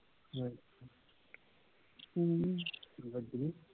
ਕਿ ਵੱਜਣੀ